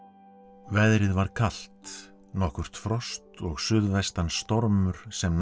veðrið var kalt nokkurt frost og suðvestan stormur sem